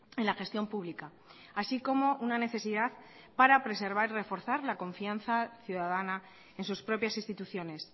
en la gestión pública así como una necesidad para preservar y reforzar la confianza ciudadana en sus propias instituciones